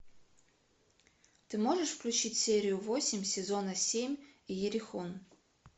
ты можешь включить серию восемь сезона семь иерихон